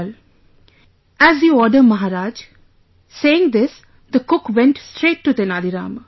" "As you order Maharaja," saying this the cook went straight to Tenali Rama